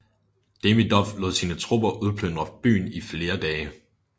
Demidov lod sine tropper udplyndre byen i flere dage